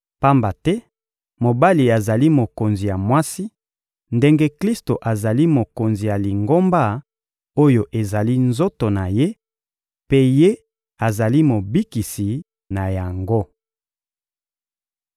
Pamba te mobali azali mokonzi ya mwasi, ndenge Klisto azali Mokonzi ya Lingomba oyo ezali nzoto na Ye, mpe Ye azali Mobikisi na yango.